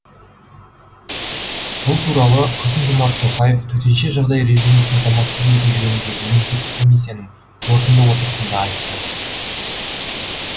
бұл туралы қасым жомарт тоқаев төтенше жағдай режимін қамтамасыз ету жөніндегі мемлекеттік комиссияның қорытынды отырысында айтты